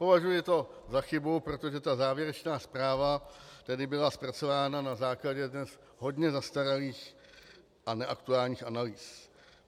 Považuji to za chybu, protože ta závěrečná zpráva tedy byla zpracována na základě dnes hodně zastaralých a neaktuálních analýz.